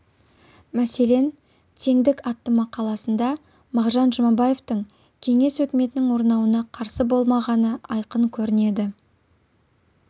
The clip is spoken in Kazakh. мәселен теңдік атты мақаласында мағжан жұмабаевтың кеңес өкіметінің орнауына қарсы болмағаны айқын көрінеді